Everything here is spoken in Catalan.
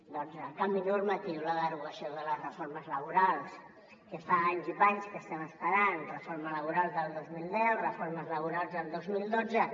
el canvi normatiu la derogació de les reformes laborals que fa anys i panys que es·tem esperant reforma laboral del dos mil deu reformes laborals del dos mil dotze